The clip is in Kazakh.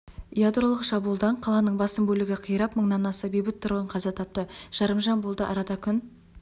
ядролық шабуылдан қаланың басым бөлігі қирап мыңнан аса бейбіт тұрғын қаза тапты жарымжан болды арада күн